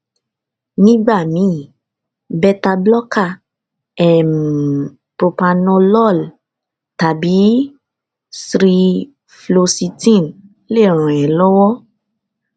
nígbà míì bétabloker um propranolol tàbí ssri floxitine lè ràn é lọwọ